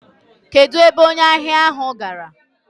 Kedụ ebe onye ahịa ahụ gara?